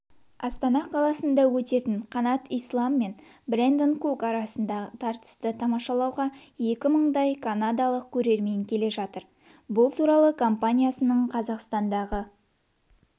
астана қаласында өтетін қанат ислам мен брэндон кук арасындағы тартысты тамашалауға екі мыңдай канадалық көрермен келе жатыр бұл туралы компаниясының қазақстандағы